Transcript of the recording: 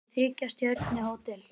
Þetta er þriggja stjörnu hótel.